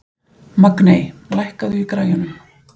Magney, lækkaðu í græjunum.